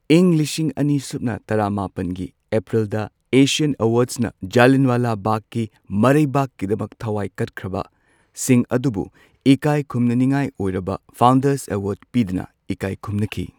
ꯏꯪ ꯂꯤꯁꯤꯡ ꯑꯅꯤ ꯁꯨꯞꯅ ꯇꯔꯥ ꯃꯥꯄꯟꯒꯤ ꯑꯦꯄ꯭ꯔꯤꯜꯗ ꯑꯦꯁꯤꯌꯥꯟ ꯑꯦꯋꯥꯔꯗꯁꯅ ꯖꯂꯤꯌꯥꯟꯋꯥꯂꯥ ꯕꯥꯒꯀꯤ ꯃꯔꯩꯕꯥꯛꯀꯤꯗꯃꯛ ꯊꯋꯥꯏ ꯀꯠꯈ꯭ꯔꯕꯁꯤꯡ ꯑꯗꯨꯕꯨ ꯏꯀꯥꯏ ꯈꯨꯝꯅꯅꯤꯉꯥꯏ ꯑꯣꯏꯔꯕ ꯐꯥꯎꯟꯗꯔꯁ ꯑꯦꯋꯥꯔꯗ ꯄꯤꯗꯨꯅ ꯏꯀꯥꯏ ꯈꯨꯝꯅꯈꯤ꯫